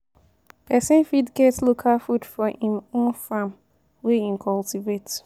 Pesin fit get local food for im own farm wey him cultivate.